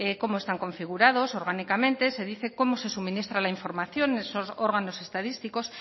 cómo están configurados orgánicamente se dice cómo se suministra la información en esos órganos estadísticos